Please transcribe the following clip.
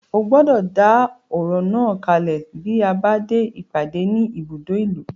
Ó gbọ́dọ̀ dá ọ̀rọ̀ náà kalẹ̀ tí a bá dé ìpàdé ní ibùdó ìlú.